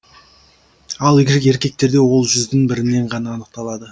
ал еркектерде ол жүздің бірінен ғана анықталады